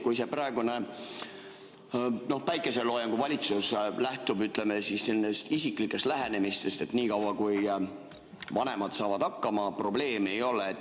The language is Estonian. Kui see praegune päikeseloojangu valitsus lähtub, ütleme, isiklikest lähenemistest, et niikaua kui vanemad saavad hakkama, probleemi ei ole.